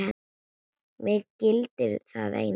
Mig gildir það einu.